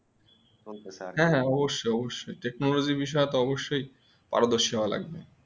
হ্যাঁ হ্যাঁ অবশ্যই অবশ্যই Technology বিষয়ে তো অবশ্যই পারদর্শী হওয়া লাগবে